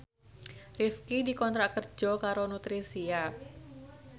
Rifqi dikontrak kerja karo Nutricia